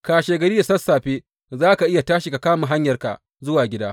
Kashegari da sassafe za ka iya tashi ka kama hanyarka zuwa gida.